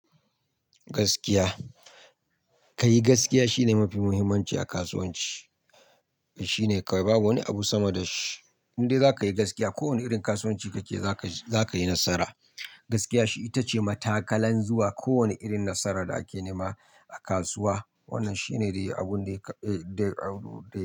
Gaskiya, ka yi gaskiya shine mafi muhimmanci a kasuwanci. Shi ne kawai babu wani abu sama da shi. Indai za ka yi gaskiya, kowane irin kasuwanci kake yi za ka, za ka yi nasara. Gaskiya shi ita ce matakalan zuwa kowane irin nasarar da ake nema a kasuwa. Wannan shi ne dai abun da ya, dai abun dai.